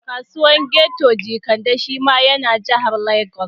Kasuwar Keto Jekande shi ma ya na Jahar Legas